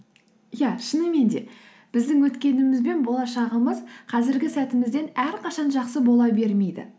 иә шынымен де біздің өткеніміз бен болашағымыз қазіргі сәтімізден әрқашан жақсы бола бермейді